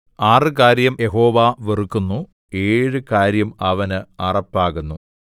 ആറ് കാര്യം യഹോവ വെറുക്കുന്നു ഏഴു കാര്യം അവന് അറപ്പാകുന്നു